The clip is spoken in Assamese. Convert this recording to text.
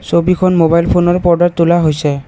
ছবিখন মোবাইল ফোনৰ তোলা হৈছে।